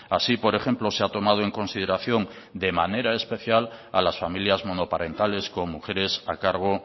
así por ejemplo se ha tomado en consideración de manera especial a las familias monoparentales con mujeres a cargo